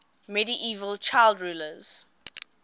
medieval child rulers